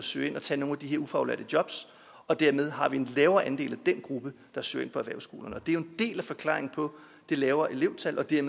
søge ind og tage nogle af de her ufaglærte jobs og dermed har vi en lavere andel af den gruppe der søger ind på erhvervsskolerne og det er jo en del af forklaringen på det lavere elevtal og det